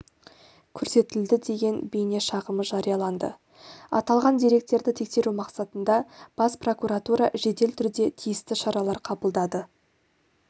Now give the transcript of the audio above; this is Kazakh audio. көрсетілді деген бейнешағымы жарияланды аталған деректерді тексеру мақсатында бас прокуратура жедел түрде тиісті шаралар қабылдады